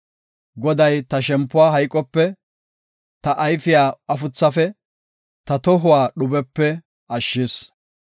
Goday ta shempuwa hayqope, ta ayfiya afuthafe, ta tohuwa dhubepe ashshis.